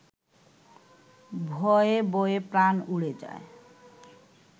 ভয়ে বয়ে প্রাণ উড়ে যায়